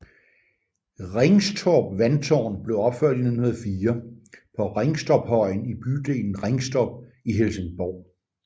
Ringstorp Vandtårn blev opført i 1904 på Ringstorpshøjen i bydelen Ringstorp i Helsingborg